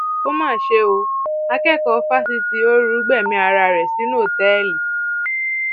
ó mà ṣe o akẹkọọ fásitì ooru gbẹmí ara rẹ sínú òtẹẹlì